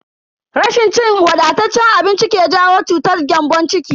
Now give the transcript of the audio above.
Rashin cin wadataccen abinci ke jawo cutar gyambon ciki.